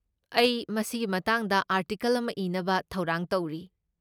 ꯑꯩ ꯃꯁꯤꯒꯤ ꯃꯇꯥꯡꯗ ꯑꯥꯔꯇꯤꯀꯜ ꯑꯃ ꯏꯅꯕ ꯊꯧꯔꯥꯡ ꯇꯧꯔꯤ꯫